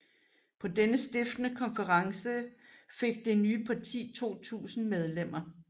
På denne stiftende konference fik det nye parti 2000 medlemmer